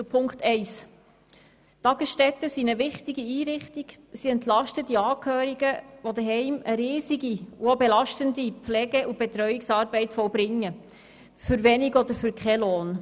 Zu Ziffer 1: Tagesstätten sind eine wichtige Einrichtung, sie entlasten die Angehörigen, die zu Hause eine immense und auch belastende Pflege- und Betreuungsarbeit vollbringen – und das für einen geringen oder für keinen Lohn.